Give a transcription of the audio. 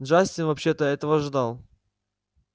джастин вообще-то этого ждал